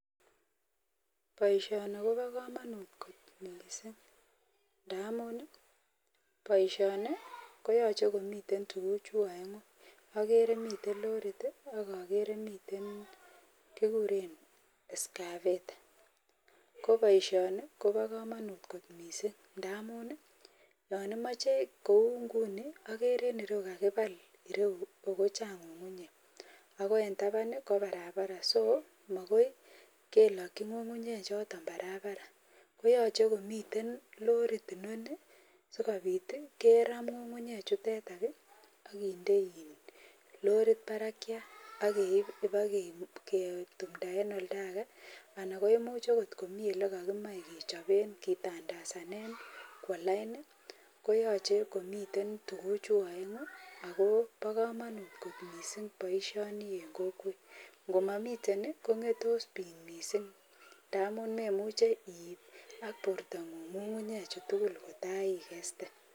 Poishoni kopo komonut kot mising ndamun poishoni koyoche kotililen tuguchu aengu agere miten lorit akagere miten kiguren escavertetsit ko ingunon Kobo komonut mising ndamun yonimochen kou nguno agere kirou kakipal ireu ako Chang ng'ung'unyek ako en taban ko Barbara so makoi kelokchi ng'ung'unyek choton Barbara koyoche komiten lorit inoni sikopit keromu nyukunyek chuton akende lorit parakyat pikeip bikaketimta eng otageeanan koimuch agot miolekakiimache kechobe ketandasan kowo line koyochei komi tuguchu oengu amu po komonut kot mising poishoni en kokwet komamiten kongetos piik mising amun memuche iip ak portongung ng'ung'unyek choton tugul kotaikeste.